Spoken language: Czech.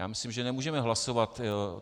Já myslím, že nemůžeme hlasovat.